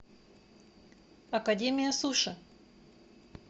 академия суши